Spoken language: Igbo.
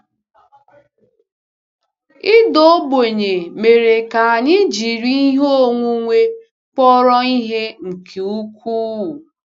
Ịda ogbenye mere ka anyị jiri ihe onwunwe kpọrọ ihe nke ukwuu.